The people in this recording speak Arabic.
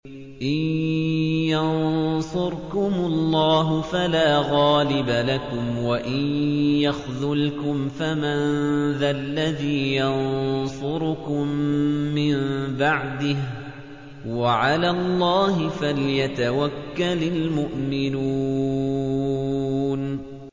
إِن يَنصُرْكُمُ اللَّهُ فَلَا غَالِبَ لَكُمْ ۖ وَإِن يَخْذُلْكُمْ فَمَن ذَا الَّذِي يَنصُرُكُم مِّن بَعْدِهِ ۗ وَعَلَى اللَّهِ فَلْيَتَوَكَّلِ الْمُؤْمِنُونَ